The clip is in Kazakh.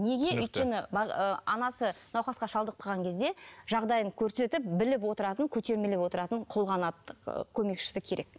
неге өйткені ыыы анасы науқасқа шалдығып қалған кезде жағдайын көрсетіп біліп отыратын көтермелеп отыратын қолғанат көмекшісі керек